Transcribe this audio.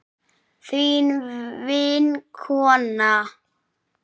Þín vinkona